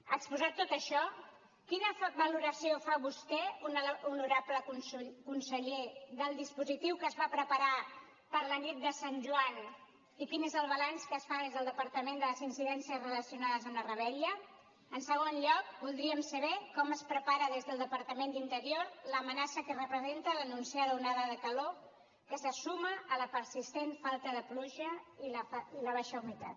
exposat tot això quina valoració fa vostè honorable conseller del dispositiu que es va preparar per la nit de sant joan i quin és el balanç que es fa des del departament de les incidències relacionades amb la revetlla en segon lloc voldríem saber com es prepara des del departament d’interior l’amenaça que representa l’anunciada onada de calor que se suma a la persistent falta de pluja i la baixa humitat